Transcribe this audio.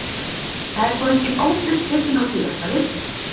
Það er þó engin ábyrgð tekin á því að þetta virki.